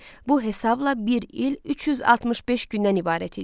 Bu hesabla bir il 365 gündən ibarət idi.